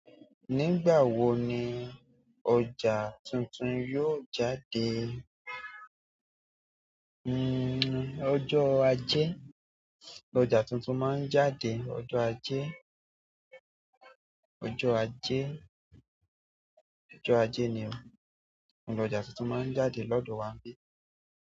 Nígbà wo ni ọjà tuntun yóò jáde? Hmm ọjọ́ ajé, ọjà tuntun máa ń jáde ọjọ́ ajé, ọjọ́ ajé, ọjọ́ ajé ni o. Ọjà tuntun máa ń jáde lọ́do wa nbí?